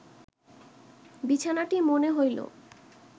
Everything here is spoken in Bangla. বিছানাটি মনে হইল